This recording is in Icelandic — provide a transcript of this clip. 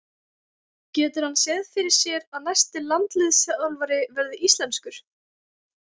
Getur hann séð fyrir sér að næsti landsliðsþjálfari verði íslenskur?